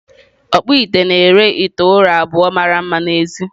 Ọkpụite na-ere ite ụrọ abụọ mara mma n’èzí.